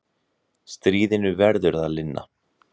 Stríðinu verður að linna.